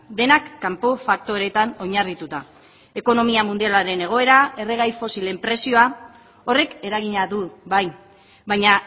denak kanpo faktoreetan oinarrituta ekonomia mundialaren egoera erregai fosilen prezioa horrek eragina du bai baina